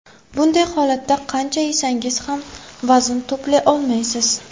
Bunday holatda qancha yesangiz ham vazn to‘play olmaysiz.